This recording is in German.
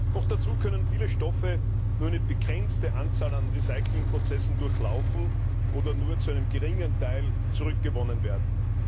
Noch dazu können viele Stoffe nur eine begrenzte Anzahl an Recyclingprozessen durchlaufen oder nur zu einem geringen Teil zurückgewonnen werden.